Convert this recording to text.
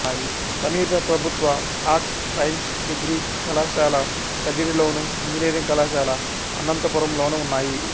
సమీప ప్రభుత్వ arts science degree కళాశాల కదిరిలోను ఇంజనీరింగ్ కళాశాల అనంతపురంలోనూ ఉన్నాయి